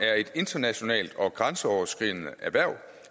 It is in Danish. er et internationalt og grænseoverskridende erhverv